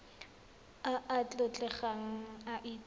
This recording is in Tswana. a a tlotlegang a itse